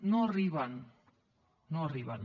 no hi arriben no hi arriben